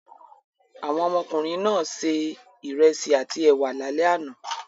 Àwọn ọmọkùnrin náà se ìrẹsì àti ẹ̀wà lálẹ́ àná.